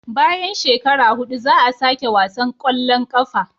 Bayan shekara hudu za a sake wasan kwallon kafa